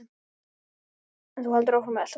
En þú heldur áfram að elta mig!